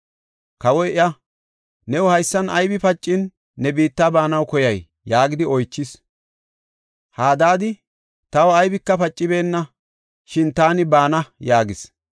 Kawoy iya, “New haysan aybi pacin, ne biitta baanaw koyay?” yaagidi oychis. Hadaadi, “Taw aybika pacibeenna, shin taani baana” yaagis.